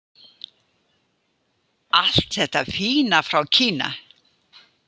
Allt þetta fína frá Kína!